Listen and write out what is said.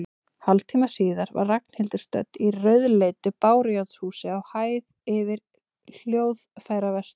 Hálftíma síðar var Ragnhildur stödd í rauðleitu bárujárnshúsi, á hæð yfir hljóðfæraverslun.